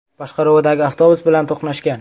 boshqaruvidagi avtobus bilan to‘qnashgan.